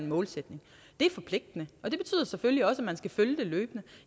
målsætning det er forpligtende og det betyder selvfølgelig også at man skal følge det løbende